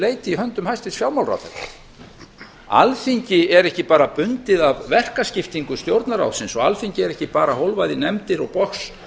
leyti í höndum hæstvirts fjármálaráðherra alþingi er ekki bara bundið af verkaskiptingu stjórnarráðsins og alþingi er ekki bara hólfað í nefndir og box